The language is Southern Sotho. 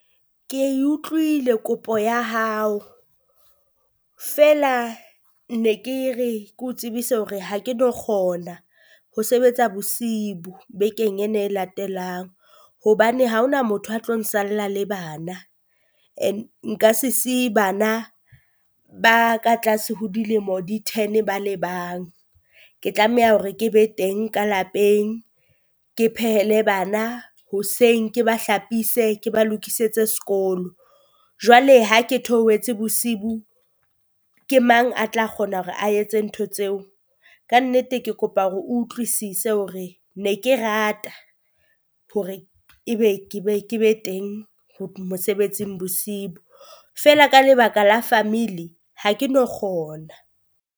Ke e utlwile kopo ya hao feela ne ke re ke o tsebise hore ha ke no kgona ho sebetsa bosihu bekeng ena e latelang, hobane ha ho na motho a tlo nsalla le bana. Nka se siye bana ba ka tlase ho dilemo di ten ba le bang, ke tlameha hore ke be teng ka lapeng ke phehele bana, hoseng ke ba hlapise ke ba lokisetse sekolo. Jwale ha ke theohetse bosihu ke mang a tla kgona hore a etse ntho tseo? Kannete, ke kopa hore utlwisise hore ne ke rata hore ebe ke be ke be teng mosebetsing Bosibo, feela ka lebaka la family ha ke no kgona.